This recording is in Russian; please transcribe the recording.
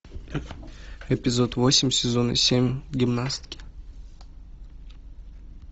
эпизод восемь сезона семь гимнастки